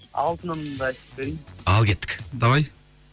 алтынымды айтып берейін ал кеттік давай